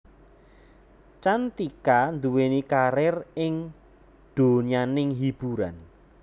Cantika nduweni karir ing donyaning hiburan